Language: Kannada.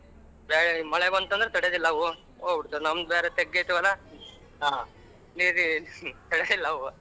ಹೆ ಮಳೆ ಬಂತು ಅಂದ್ರೆ ತಡಿಯದ್ ಇಲ್ಲ ಅವು ಹೋಗಬುಡತವ ನಮ್ಮದ್ ಬ್ಯಾರೇ ತಗ್ಗೆತ ಹೊಲ ನೀರಿಗ ತಡೆಯಲ್ಲ ಅವು.